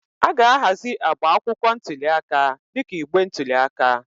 A ga-ahazi agba akwụkwọ ntuli aka dịka igbe ntụli aka.